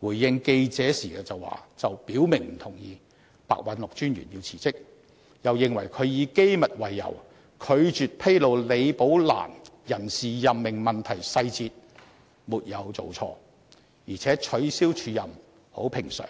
回應記者時卻表明不同意白韞六專員辭職，又認為他以機密為由，拒絕披露李寶蘭人事任命問題的細節沒有做錯，而且取消署任很平常。